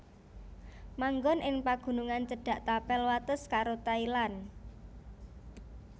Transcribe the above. Manggon ing pagunungan cedhak tapel wates karo Thailand